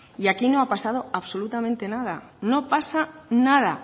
y aquí no ha pasado absolutamente nada no pasa nada